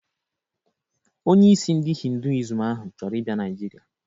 Onyeisi ndi hinduism ahụ chọrọ ịbịa Naịjirịa